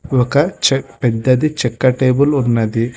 ఒక చెట్టు పెద్దది చెక్క టేబుల్ ఉన్నది.